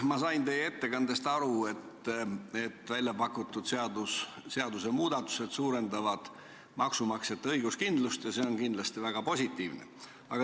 Ma sain teie ettekandest aru, et väljapakutud seadusmuudatused suurendavad maksumaksjate õiguskindlustust, ja see on kindlasti väga positiivne.